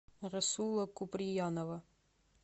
расула куприянова